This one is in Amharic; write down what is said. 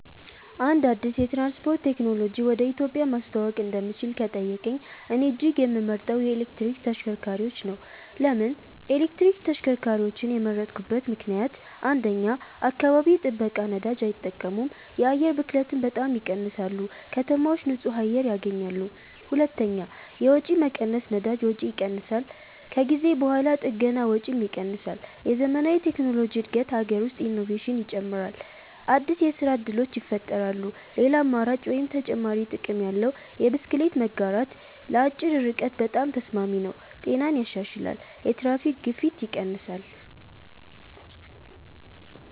አንድ አዲስ የትራንስፖርት ቴክኖሎጂ ወደ ኢትዮጵያ ማስተዋወቅ እንደምችል ከተጠየቀኝ፣ እኔ እጅግ የምመርጠው የኤሌክትሪክ ተሽከርካሪዎች ነው። ለምን ኤሌክትሪክ ተሽከርካሪዎችን የመረጥኩበት ምክንደያት? 1. አካባቢ ጥበቃ ነዳጅ አይጠቀሙም የአየር ብክለትን በጣም ይቀንሳሉ ከተማዎች ንጹህ አየር ያገኛሉ 2. የወጪ መቀነስ ነዳጅ ወጪ ይቀንሳል ከጊዜ በኋላ ጥገና ወጪም ይቀንሳል የዘመናዊ ቴክኖሎጂ እድገት አገር ውስጥ ኢኖቬሽን ይጨምራል አዲስ የስራ እድሎች ይፈጠራሉ ሌላ አማራጭ (ተጨማሪ ጥቅም ያለው) የብስክሌት መጋራት ለአጭር ርቀት በጣም ተስማሚ ነው ጤናን ያሻሽላል የትራፊክ ግፊት ይቀንሳል